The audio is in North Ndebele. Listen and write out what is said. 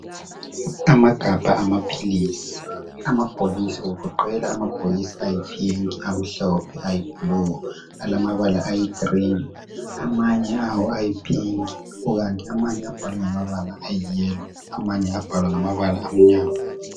Amagabha amaphilisi. Amabhokisi agoqela amabhokisi ayiphinki, amhlophe, ayibhulu, alamabala ayigilini, amanye awo ayiphinki kukanti amanye abhalwe ngama bala ayiyelo amanye abhalwa ngamabala amnyama.